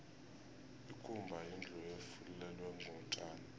ikumba yindlu efulelwe ngotjani